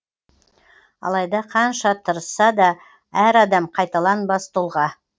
алайда қанша тырысса да әр адам қайталанбас тұлға